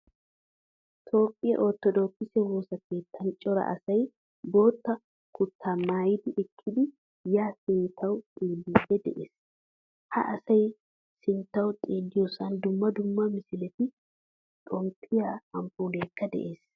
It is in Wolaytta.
Toophphiyaa orttodokise woosaa keettan cor asay boottaa kutta maayidi eqqidi ya sinttawu xeelidi de'ees. Ha asay sinttawu xeeliyosan dumma dumma misiletti, xomppiyaa amppulekka de'ees.